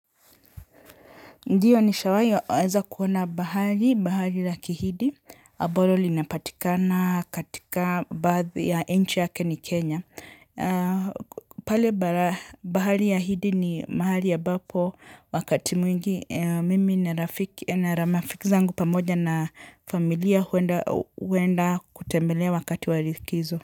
Ndiyo nishawahiweza kuona bahari, bahari la kihidi. Ambalo linapatikana katika baadhi ya nchi yake ni Kenya. Pale bahari ya hindi ni mahali ambapo wakati mwingi. Mimi na rafiki zangu pamoja na familia huenda kutembelea wakati wa likizo.